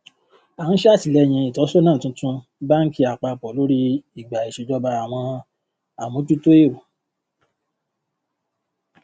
a ń ṣàtìlẹyìn ìtọsọnà tuntun bánkì àpapọ lórí ìgbà ìṣèjọba àwọn àmójútó èro